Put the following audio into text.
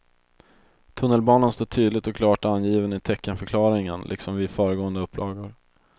Tunnelbanan står tydligt och klart angiven i teckenförklaringen liksom vid föregående upplagor.